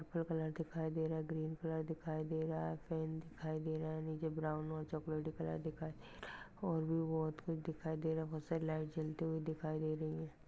Green colour दिखाई दे रहा है ग्रीन कलर दिखाई दे रहा है पैंट दिखाई दे रहा है निचे ब्राउन और चॉकलेटी कलर दिखाई दे रहा है और भी बोहत कुछ दिखाई दे रहा है बोहत सारी लाइट दिखाई दे रही है।